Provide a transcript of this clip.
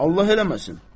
Allah eləməsin.